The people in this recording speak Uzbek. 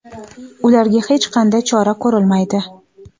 ularga hech qanday chora ko‘rilmaydi.